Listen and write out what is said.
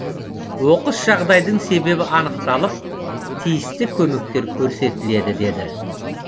оқыс жағдайдың себебі анықталып тиісті көмектер көрсетіледі деді